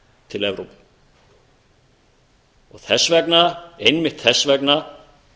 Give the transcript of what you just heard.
til evrópu þess vegna einmitt þess vegna